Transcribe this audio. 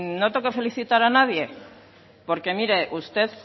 no tengo que felicitar a nadie porque mire usted